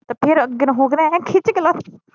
ਤੇ ਫਿਰ ਅੱਗੇ ਨੂੰ ਹੋ ਕੇ ਨਾ ਏ ਖਿੱਚ ਕੇ ਲੱਤ